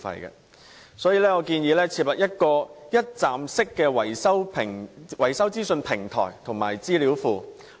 因此，我建議設立一站式維修資訊平台及資料庫。